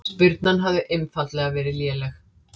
Spyrnan hefði einfaldlega verið léleg